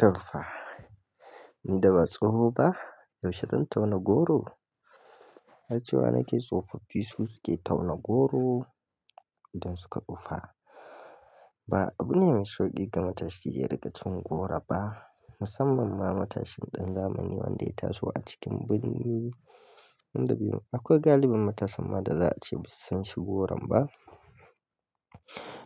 Tofa. Ni da ba tsoho ba, yaushe zan tauna goro? Har cewa nake tsofaffi su suke tauna goro idan suka tsufa ba abu ne mai sauƙi ga matashi yayi rikacin goro ba, musamman ma matashin ɗan zamani wanda ya taso a cikin birni. Inda bai, akwai galibin matasan ma da za a ce ba su san shi goron ba.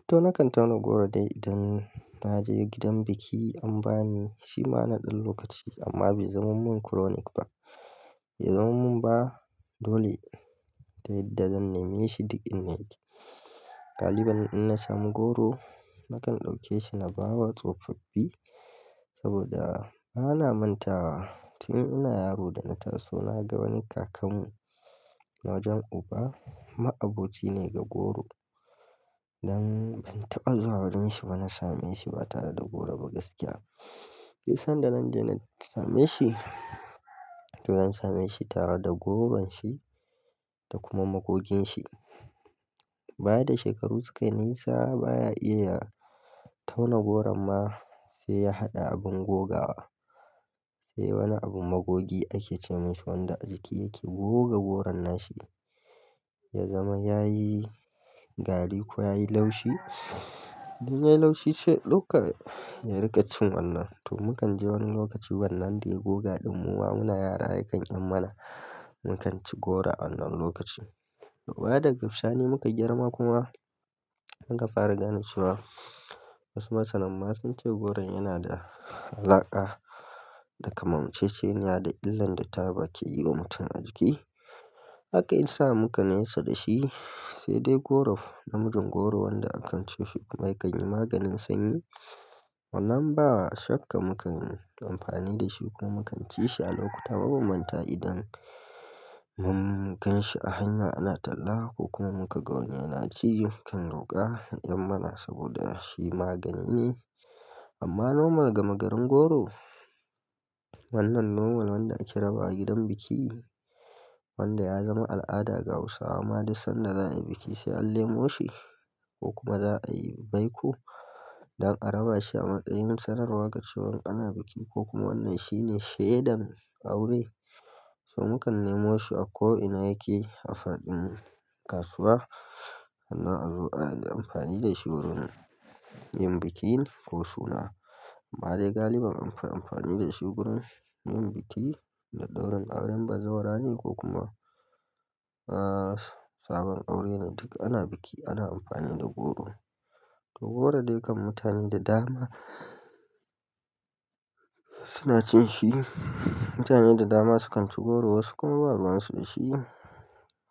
To nakan tauna goro dai idan na je gidan biki an ba ni shi ma na ɗan lokaci amma bai zamamin chronic ba. Bai zamamin ba dole dai da zan nema shi duk in na yi. Galibin in na samu goro, nakan ɗauke shi na bawa tsofaffi saboda bana manta wa. Tun ina yaro da na taso na ga wani kakan mu na wajen uba, ma'aboci ne ga goro. Dan ban taɓa zuwa wajenshi ba na same shi ba tare da goro ba gaskiya. Duk san da nan dai na same shi, to zan same shi tare da goron shi da kuma magogin shi. Baya da shekaru sukayi nesa baya iya tauna goro ma sai ya haɗa abin gogawa. Sai wani abun magogi ake ce mishi wanda a jiki yake goga goron nashi ya zama yayi gari ko yayi laushi. Dan yayi laushi sai ɗauka yayi rikacin wannan. To mu kan je wani lokaci wannan dai goga ɗin mowa muna yara yakan yan mana. Mu kan ci goro a wannan lokaci. To bayan da girfsa ne muka girma kuma mun ka fara gane cewa wasu masanan masun ce goron yana da alaƙa da kamanceceniya da illan da taɓa ke yi wa mutum a jiki. Haka ya sa muka nesa da shi sai dai goro, namijin goro wanda akan ci shi kuma yakan yi maganin sanyi. Wannan ba shakka mu kan yi amfani da shi ko mu kan ci shi a lokuta mabanbanta idan mu gan shi a hanya ana talla ko kuma muka ga wani yana ci mu kan roƙa ya yan mana saboda shi magani ne. Amma nomal gama garin goro, wannan nomal wanda ake raba a gidan biki wanda ya zama al'ada ga Hausawa ma da sanda za a yi biki sai an nemo shi ko kuma za a yi baiku dan a raba shi a matsayin sanarwa ga cewan ana biki ko kuma wannan shine shaiɗan aure. To mu kan nemo shi a ko ina yake a faɗin kasuwa sannan a zo a yi amfani da shi wurin yin bikin ko suna. Amma dai galibin anfi amfani da shi wurin yin biki da ɗaurin aure. Ba zawa rane ko kuma, ah, sabon aure ne duk ana biki ana amfani da goro. To goro dai kan mutane da dama suna cin shi. Mutane da dama su kan ci goro wasu kuma ba ruwan su da shi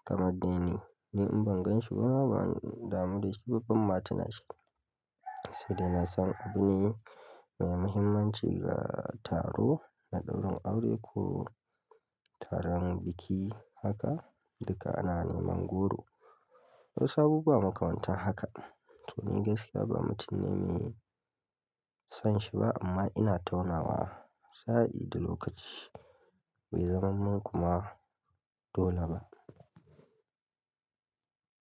kamar dai ni. Ni in ban ganshi ba bana damu da shi babban ma tana shi. Sai dai na san abu ne mai muhimmanci ga taro da ɗaurin aure ko taron biki haka duka ana neman goro. Wasu abubuwa makamantan haka. To ni gaskiya ba mutum ne mai son shi ba amma ina taunawa sa'ai da lokaci bai zamamin kuma dole ba.